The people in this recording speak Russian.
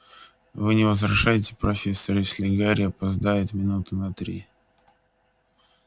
вы не возражаете профессор если гарри опоздает минуты на три